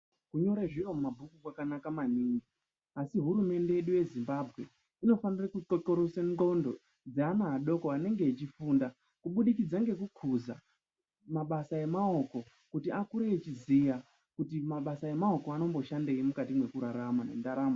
Kunyora zviro mumabhuku kwakanaka maningi asi hurumende yedu yezimbabwe inofana kutnxinxirosa ngonxo Yana adoko anenge eifunda kuburikidza mabasa emaoko kuti apote eiziva kuti anoshandei mukati mendaramo kushandei.